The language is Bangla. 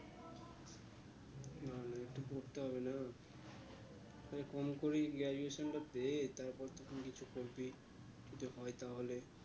পড়তে হবে না কম করেই graduation টা পেয়ে তারপর তো তুই কিছু করবি এইটা হয়ে তাহলে